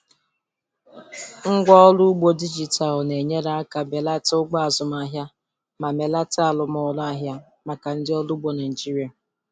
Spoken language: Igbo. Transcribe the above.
Ngwaọrụ ugbo dijitalụ na-enyere aka belata ụgwọ azụmahịa ma melite arụmọrụ ahịa maka ndị ọrụ ugbo Naijiria.